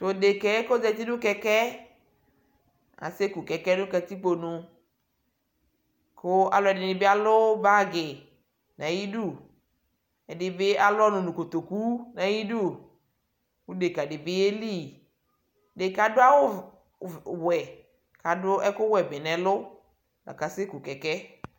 tʋ ɛdɛkaɛ kʋ ɔzati kɛkɛɛ asɛ kʋ kɛkɛɛ nʋ katikpɔ nʋ kʋ alʋɛdini bi alʋ bagi nʋ ayidʋ, ɛdibi alʋ ɔnʋ nʋ kɔtɔkʋ nʋ ayidʋ kʋ ɛdɛka dibi yɛli, ɛdɛkaɛ adʋ awʋ wɛ kʋ adʋ ɛkʋ wɛ bi nʋ ɛlʋ kʋ asɛkʋkɛkɛɛ